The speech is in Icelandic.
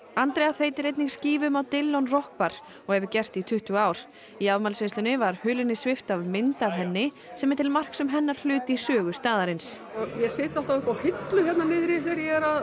Andrea þeytir einnig skífum á Dillon rokk bar og hefur gert í tuttugu ár í afmælisveislunni var hulunni svipt af mynd af henni sem er til marks um hennar hlut í sögu staðarins ég sit alltaf upp á hillu hérna niðri þegar ég er að